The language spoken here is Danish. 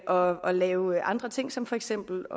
og og lave andre ting som for eksempel